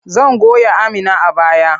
Zan goya Amina a baya.